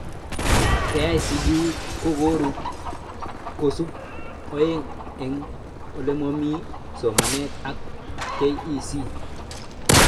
KICD kokorub kosubet aeng eng olemami somanet ak KEC